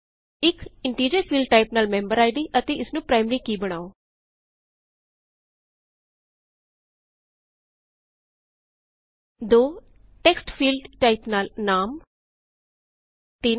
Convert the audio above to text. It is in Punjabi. ਇਨਟੀਜਰ ਫੀਲਡਟਾਇਪ ਨਾਲ ਮੈਮਬਰ ਆਇ ਡੀ ਅਤੇ ਇਸਨੂੰ ਪਰਾਏਮਰੀ ਕੀ ਬਨਾਓ 2 ਟੇਕਸਟ ਫੀਲਡਟਾਇਪ ਨਾਲ ਨਾਮ 3